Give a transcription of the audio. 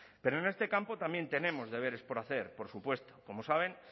pero en este campo también tenemos deberes por hacer por supuesto como saben